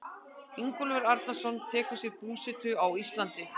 Ingólfur Arnarson tekur sér búsetu á Íslandi.